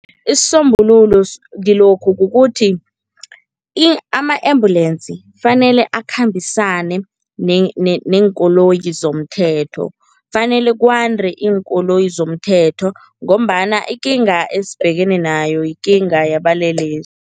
Isisombululo kilokhu kukuthi ama-ambulensi fanele akhambisane neenkoloyi zomthetho, fanele kwande iinkoloyi zomthetho ngombana ikinga esibhekene nayo yikinga